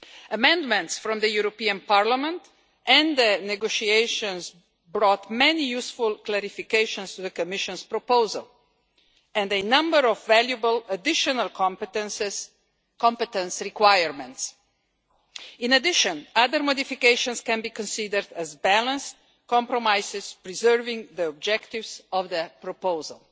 Amendments from the European Parliament and the negotiations brought many useful clarifications to the Commission's proposal and a number of valuable additional competence requirements. In addition, other modifications can be considered as balanced compromises preserving the objectives of the proposal.